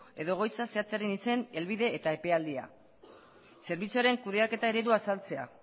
edo egoitza zehatzaren izen helbide eta epealdia zerbitzuaren kudeaketa eredua azaltzea